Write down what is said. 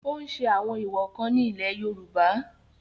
ó ń ṣe àwọn èwọ̀ kan ní ilẹ̀ yorùbá